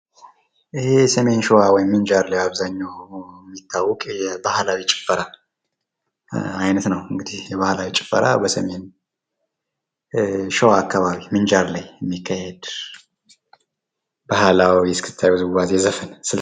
ይህ ሰሜን ሸዋ ወይም ምንጃር ላይ በአብዘሃኛው የሚታወቅ የባህላዊ ጭፈራ አይነት ነው ፤ የባህላዊ ጭፈራ በሰሜን ሸዋ ምንጃር አከባቢ የሚካሄድ ባህላዊ ዉዝዋዜ ወይም ስልት ነው።